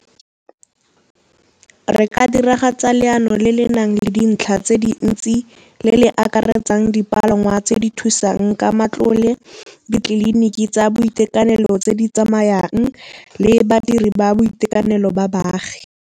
Re ka diragatsa leano le le nang le dintlha tse dintsi le le akaretsang dipalangwa tse di thusang ka matlole, ditleliniki tsa boitekanelo tse di tsamayang le badiri ba boitekanelo ba baagi.